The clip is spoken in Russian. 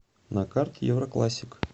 на карте евроклассик